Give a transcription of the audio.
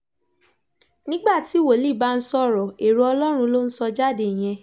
nígbà tí wòlíì bá ń sọ̀rọ̀ èrò ọlọ́run ló ń sọ jáde yẹn